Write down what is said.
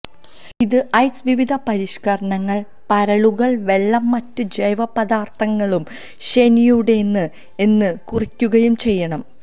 ഇത് ഐസ് വിവിധ പരിഷ്കരണങ്ങൾ പരലുകൾ വെള്ളം മറ്റ് ജൈവ പദാർത്ഥങ്ങളും ശനിയുടെ ന് എന്ന് കുറിക്കുകയും ചെയ്യണം